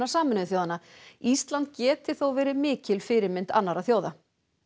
Sameinuðu þjóðanna ísland geti þó verið mikil fyrirmynd annarra þjóða